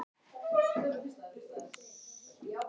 Sú stutta leit upp og rýndi á manninn.